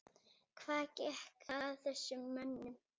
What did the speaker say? Hvað gekk að þessum mönnum?